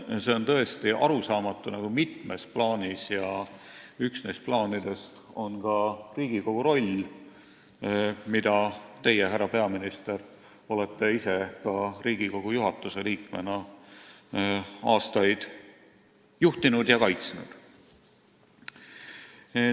See on tõesti mitmes plaanis arusaamatu ja üks neist plaanidest on ka Riigikogu roll, mida teie, härra peaminister, olete ise Riigikogu juhatuse liikmena aastaid juhtinud ja kaitsnud.